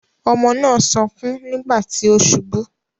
Ọmọ náà sunkún nígbà tí ó subú.